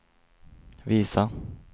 visa